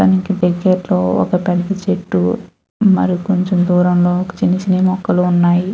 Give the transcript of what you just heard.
తనకి దగ్గరలో ఒక పెద్ద చెట్టు మరి కొంచెం దూరంలో చిన్న చిన్న మొక్కలు ఉన్నాయి.